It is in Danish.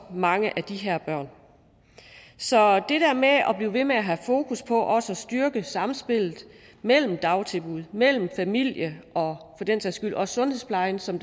mange af de her børn så det der med at blive ved med at have fokus på også at styrke samspillet mellem dagtilbud mellem familie og for den sags skyld også sundhedsplejen som